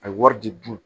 A ye wari di dun